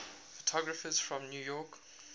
photographers from new york